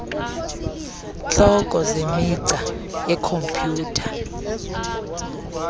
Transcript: hloko zemigca yekhompuyutha